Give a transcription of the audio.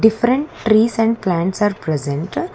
different trees and plants are present.